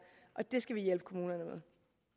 det skal vi hjælpe kommunerne med